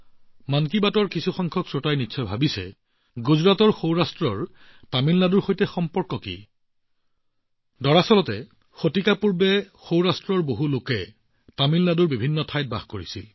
মন কী বাতৰ কিছুমান শ্ৰোতাই নিশ্চয় ভাবিছে তামিলনাডুৰ সৈতে গুজৰাটৰ সৌৰাষ্ট্ৰৰ সম্পৰ্ক কি মই আপোনাক কওঁ শতিকা আগতে সৌৰাষ্ট্ৰৰ বহুলোকে তামিলনাডুৰ বিভিন্ন ঠাইত বসতি স্থাপন কৰিছিল